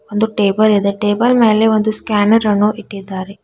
ಒಂದು ಟೇಬಲ್ ಇದೆ ಮೇಲೆ ಒಂದು ಸ್ಕ್ಯಾನರ್ ಅನ್ನು ಇಟ್ಟಿದ್ದಾರೆ.